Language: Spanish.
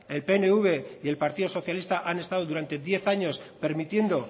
el pnv y el partido socialista han estado durante diez años permitiendo